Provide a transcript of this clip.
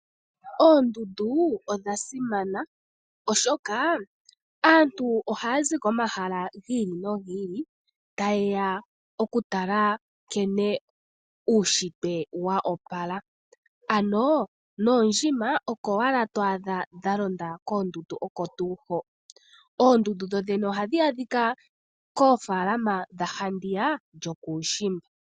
Oondundu odha simana oshoka aantu oha ya zi komahala gi ili no gi ili ta ye ya okutala nkene uunshitwe wa opala, ano noondjima oko owala to adha dhalonda koondundu oko tuu ho, oondundu dhodhene ohadhi adhika koofalama dha handiya yokuushimba.